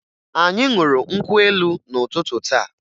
Anyị ṅụrụ nkwụ elu n'ụtụtụ taa